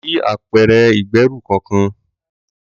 Mi ò rí apẹ̀rẹ̀ ìgbẹ́rù kọkàn.